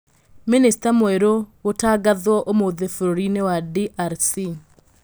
Mĩnĩsta mwerũ gũtangathwo ũmũthĩ bũrũrũ-inĩ wa DRC